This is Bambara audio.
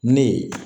Ne ye